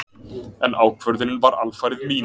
En ákvörðunin var alfarið mín.